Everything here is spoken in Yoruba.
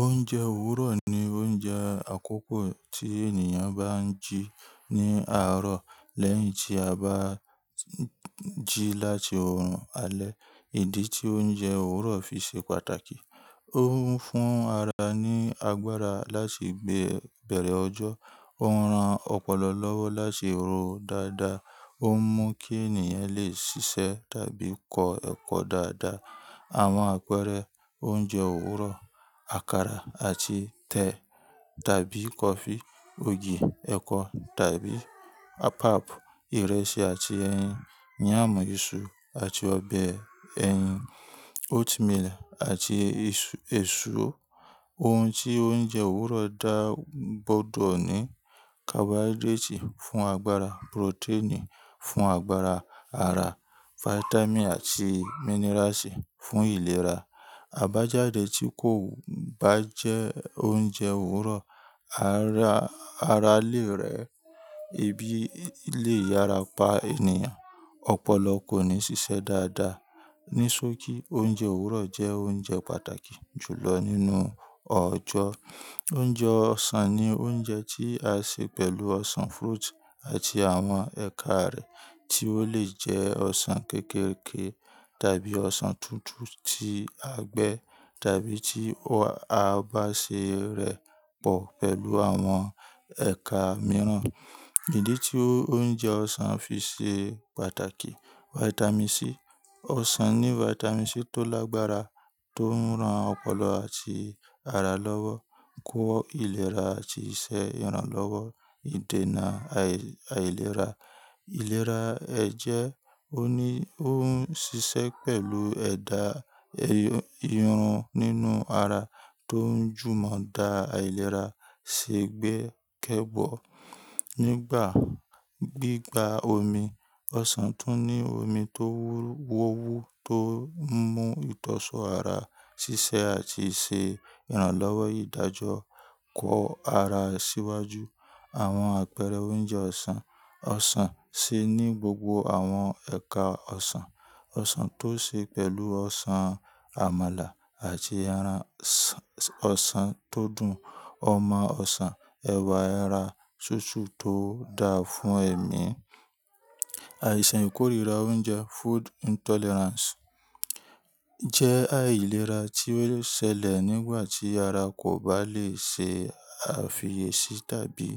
Oúnjẹ òwúrọ̀ ni oúnjẹ àkoko tí ènìyàn bá ń jí ní àárọ̀ lẹ́yìn tí a bá ń jí láti orùn alẹ́. Ìdí tí oúnjẹ òwúrọ̀ fi ṣe pàtàkì, ó ń fún ara ní agbára láti gbé bẹ̀rẹ̀ ọjọ́, ó ń ran ọpọlọ lọ́wọ́ láti ro dáadáa, ó ń mú kí ènìyàn lè ṣiṣẹ́ tàbí kọ ẹkọ dáadáa. Àwọn àpẹẹrẹ oúnjẹ òwúrọ̀, àkàrà àti tẹ̀ tàbí kọfí, ògì, ẹ̀kọ tàbí pap, ìrẹsì àti ẹyin, yàmu ìṣù àti ọbẹ̀ ẹyin, oatmeal àti èso. Ohun tí oúnjẹ òwúrọ̀ dá gbọdọ̀ ní carbohydrate fún agbára, protein fún agbára ara, vitamin àti minerasi fún ìlera. Àbájáde tí kò bá jẹ́ oúnjẹ òwúrọ̀, ara ara lè rẹ, ebi lè yára pa ènìyàn, ọpọlọ kò ní ṣiṣẹ́ dáadáa. Nísóòkì oúnjẹ òwúrọ̀ jẹ́ oúnjẹ pàtàkì jùlọ nínú ọjọ́. Oúnjẹ ọsàn ni oúnjẹ tí a ṣe pẹ̀lú ọsàn fruit àti àwọn ẹ̀ka rẹ̀ tí ó lè jẹ́ ọsàn kekéékèè tàbí ọsàn tútù tí a gbẹ́ tàbí tí a bá ṣe rẹ̀ pọ̀ pẹ̀lú àwọn ẹ̀ka mìíràn. Ìdí tí oúnjẹ ọsàn fi ṣe pàtàkì, vitamin C. Ọsàn ní vitamin C tó lágbára tó ń ran ọpọlọ àti ara lọ́wọ́, kó ìlera àti iṣẹ́ ìrànlọ́wọ́ ìdènà àìlera. Ìlera ẹ̀jẹ̀, o ni--ó ń ṣiṣẹ́ pẹ̀lú ẹ̀dà irun nínú ara tó ń jùmọ̀ dá àìlera ṣe gbẹ́kẹ̀bọ́. Nigba gbigba omi osan tun ni omi to wu to mu to so ara sise ati ise iranlowo idajo ko ara siwaju. Àwọn àpẹẹrẹ oúnjẹ ọsàn, ọsàn ṣe ní gbogbo àwọn ẹ̀ka ọsàn. Ọsàn tó ṣe pẹ̀lú ọsàn àmàlà àti eran ọsàn tó dùn, ọmọ ọsàn, ẹ̀wà ẹra tútù tó dáa fún ẹ̀mí. Àìsàn ìkórìíra oúnjẹ, food intolerance, jẹ́ àìlera tí ó ṣẹlẹ̀ nígbà tí ara kò bá lè ṣe àfiyèsí tàbí